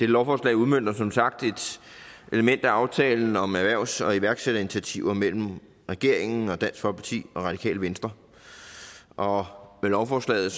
lovforslag udmønter som sagt et element af aftalen om erhvervs og iværksætterinitiativer mellem regeringen og dansk folkeparti og radikale venstre og med lovforslaget